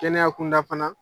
Kɛnɛya kunda fana.